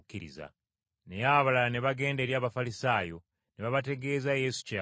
Naye abalala ne bagenda eri Abafalisaayo ne babategeeza Yesu kye yakola.